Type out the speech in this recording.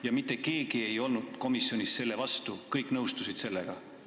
Kas mitte keegi ei olnud komisjonis selle vastu, kõik nõustusid sellega?